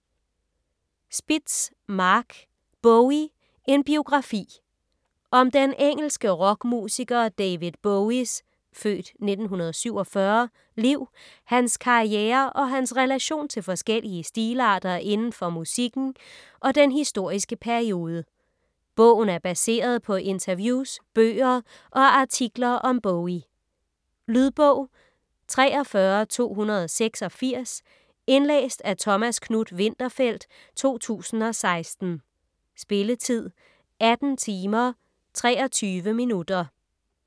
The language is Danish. Spitz, Marc: Bowie: en biografi Om den engelske rockmusiker David Bowies (f. 1947) liv, hans karriere og hans relation til forskellige stilarter inden for musikken og den historiske periode. Bogen er baseret på interviews, bøger og artikler om Bowie. Lydbog 43286 Indlæst af Thomas Knuth-Winterfeldt, 2016. Spilletid: 18 timer, 23 minutter.